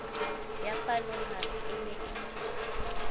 ya palohare e ne e